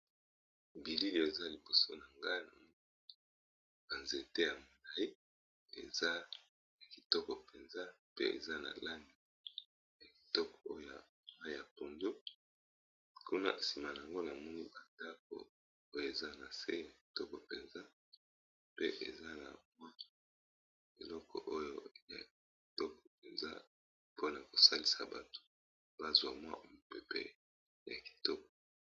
Bilili eza liboso na nga ba nzete ya molayi eza kitoko mpenza pe eza na langi ya kitoko oya mayi ya pondu, kuna nsima nango na moni ba ndako oyo eza na se ya kitoko mpenza. Pe eza na mwa eloko oyo ya kitoko mpenza, mpona ko salisa bato ba zwa mwa mopepe ya kitoko.